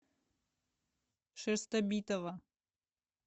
шерстобитова